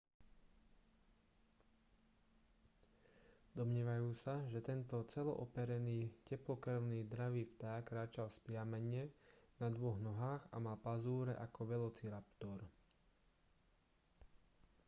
domnievajú sa že tento celo-operený teplokrvný dravý vták kráčal vzpriamene na dvoch nohách a mal pazúre ako velociraptor